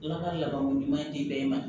Ala ka lako ɲuman di bɛɛ ma